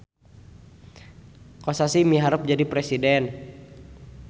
Kosasih miharep jadi presiden